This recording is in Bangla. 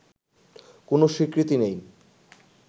কোন স্বীকৃতি নেই